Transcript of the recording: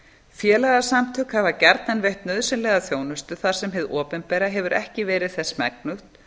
félagasamtök hafa gjarnan veitt nauðsynlega þjónustu þar sem hið opinbera hefur ekki verið þess megnugt